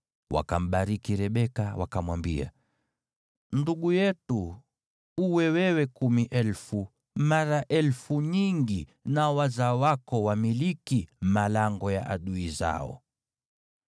Wakambariki Rebeka, wakamwambia, “Ndugu yetu, uwe wewe kumi elfu, mara elfu nyingi, nao wazao wako wamiliki malango ya adui zao.”